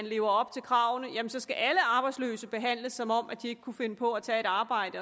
lever op til kravene så skal alle arbejdsløse behandles som om de ikke kunne finde på at tage et arbejde